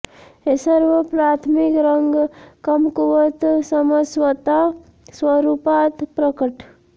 हे सर्व प्राथमिक रंग कमकुवत समज स्वतः स्वरुपात प्रकट